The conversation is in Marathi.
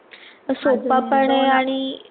सोपा पण आहे आणि